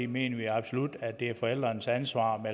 mener vi absolut at det er forældrenes ansvar at